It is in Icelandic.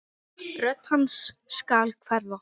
Rödd hans skal hverfa.